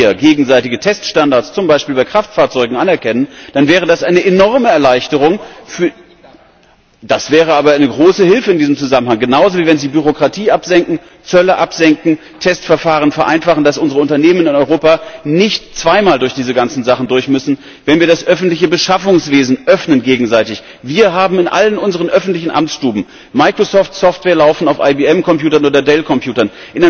Aber wenn wir gegenseitige Teststandards, zum Beispiel bei Kraftfahrzeugen, anerkennen, dann wäre das eine enorme Erleichterung für Das wäre aber eine große Hilfe in diesem Zusammenhang genauso, wie wenn Sie Bürokratie absenken, Zölle absenken, Testverfahren vereinfachen, dass unsere Unternehmen in Europa nicht zweimal durch diese ganzen Sachen durchmüssen, wenn wir das öffentliche Beschaffungswesen gegenseitig öffnen. Wir haben in all unseren öffentlichen Amtsstuben Microsoft Software laufen auf IBM Computern oder DELL Computern.